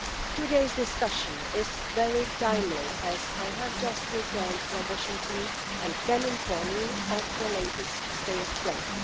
Today's discussion is very timely, as I have just returned from Washington and can inform you of the latest state of play.